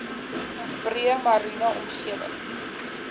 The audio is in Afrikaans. breë mariene omgewing